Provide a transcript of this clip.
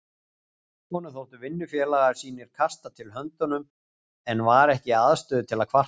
Honum þóttu vinnufélagar sínir kasta til höndunum en var ekki í aðstöðu til að kvarta.